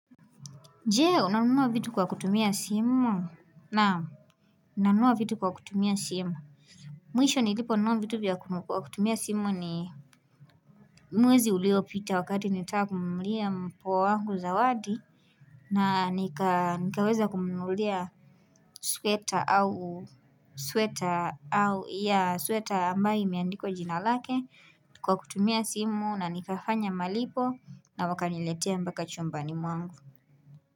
Je, unanua vitu kwa kutumia simu? Naam, nanunua vitu kwa kutumia simu. Mwisho niliponunua vitu kwa kutumia simu ni mwezi uliopita wakati nitamnunulia mpoa wangu zawadi. Na nikaweza kumnunulia sweater au ya sweater ambayo imeandikwa jina lake kwa kutumia simu na nikafanya malipo na wakaniletea mpaka chumbani mwangu.